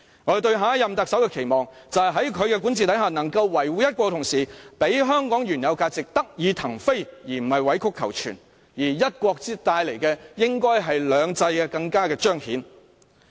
我對下任特首的期望，就是在其管治下，"一國"得以維護，同時讓香港原有價值得以騰飛，而不是委曲求全；隨"一國"而來的，應是"兩制"更得以彰顯。